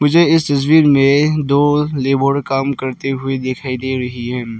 मुझे इस तस्वीर में दो लेबर काम करते हुए दिखाई दे रहे हैं।